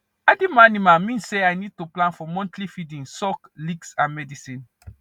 adding more animal man say i need to plan for monthly feeding salk licks and medicine